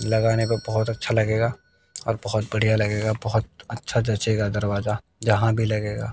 लगाने पे बहुत अच्छा लगेगा और बहुत बढ़िया लगेगा बहुत अच्छा जचेगा दरवाजा यहां भी लगेगा।